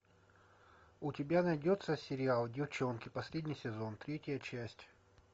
у тебя найдется сериал деффчонки последний сезон третья часть